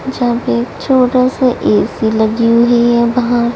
यह पे एक छोटा स ए_सी लगी हुई है वह--